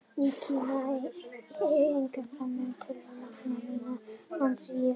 Í Kína er einnig framleitt töluvert magn, en minna á Indlandi og í Víetnam.